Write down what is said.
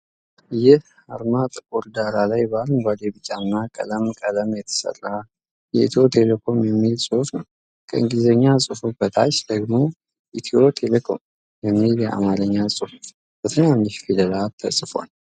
ይህ አርማጥቁር ዳራ ላይ በአረንጓዴ፣ ቢጫና ሰማያዊ ቀለም የተሠራ ኢትዮ ተሌኮም የሚል ጽሑፍ አለ። ከእንግሊዝኛ ጽሑፉ በታች ደግሞ "ኢትዮ ቴሌኮም" የሚል የአማርኛ ጽሑፍ በትናንሽ ፊደላት ተጽፎአል።